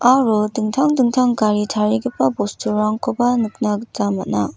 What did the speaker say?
aro dingtang dingtang gari tarigipa bosturangkoba nikna gita man·a.